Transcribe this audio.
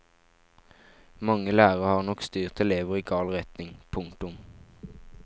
Mange lærere har nok styrt elever i gal retning. punktum